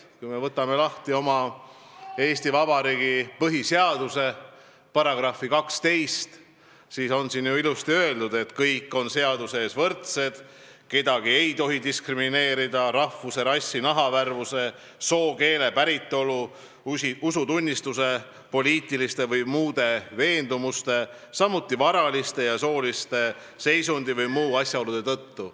Kui me võtame lahti Eesti Vabariigi põhiseaduse, siis näeme, et §-s 12 on ilusasti öeldud, et kõik on seaduse ees võrdsed, kedagi ei tohi diskrimineerida rahvuse, rassi, nahavärvuse, soo, keele, päritolu, usutunnistuse, poliitiliste või muude veendumuste, samuti varalise ja sotsiaalse seisundi või muude asjaolude tõttu.